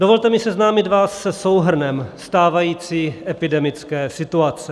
Dovolte mi seznámit vás se souhrnem stávající epidemické situace.